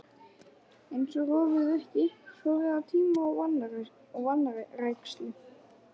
Eins og rofið virki, sorfið af tíma og vanrækslu.